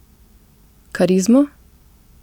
Karizmo?